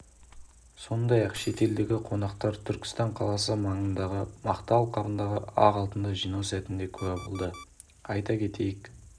сондай-ақ шетелдік қонақтар түркістан қаласы маңындағы мақта алқабындағы ақ алтынды жинау сәтіне куә болды айта кетейік